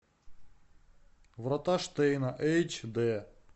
врата штейна эйч дэ